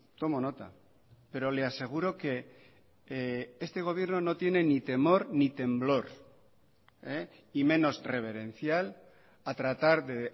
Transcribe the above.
tomo nota pero le aseguro que este gobierno no tiene ni temor ni temblor y menos reverencial a tratar de